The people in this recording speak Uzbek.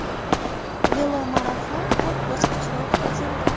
Velomarafon to‘rt bosqichda o‘tkazildi.